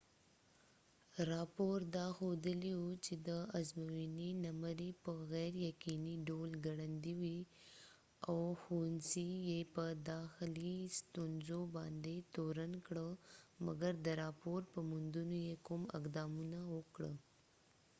راپور دا ښودلی و چې د ازموينی نمری په غیر یقینی ډول ګړندي وي او ښوونڅی یې په داخلی ستونزو باندي تورن کړ مګر د راپور په موندونو یې کوم اقدام ونه کړ